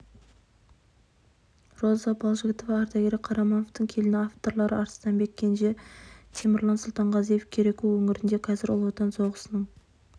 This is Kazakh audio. роза балжігітова ардагері қарамановтың келіні авторлары арыстанбек кенже темірлан сұлтанғазиев кереку өңірінде қазір ұлы отан соғысының